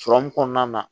Sɔrɔmu kɔnɔna na